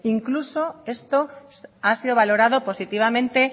incluso esto ha sido valorado positivamente